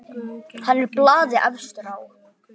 Hann er blaði efstur á.